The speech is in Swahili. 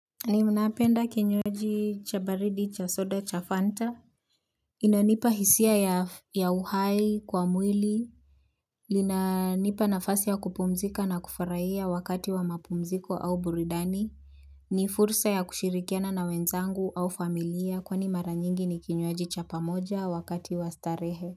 Ninapenda kinywaji cha baridi cha soda cha fanta. Inanipa hisia ya uhai kwa mwili inanipa nafasi ya kupumzika na kufurahia wakati wa mapumziko au burudani ni fursa ya kushirikiana na wenzangu au familia kwani mara nyingi ni kinywaji cha pamoja wakati wa starehe.